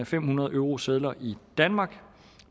fem hundrede eurosedler i danmark